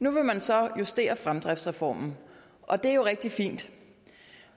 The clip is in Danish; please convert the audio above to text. nu vil man så justere fremdriftsreformen og det er jo rigtig fint